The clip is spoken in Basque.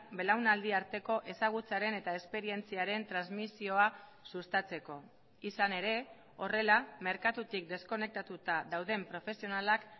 belaunaldi arteko ezagutzaren eta esperientziaren transmisioa sustatzeko izan ere horrela merkatutik deskonektatuta dauden profesionalak